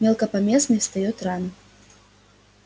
мелкопоместный встаёт рано